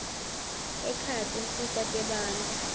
ekhaya tinsita tebantfu